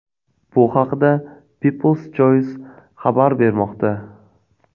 Bu haqda People’s Choice xabar bermoqda .